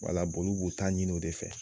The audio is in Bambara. Wala olu b'o ta ɲinin o de fɛ.